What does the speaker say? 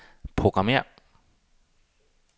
programmér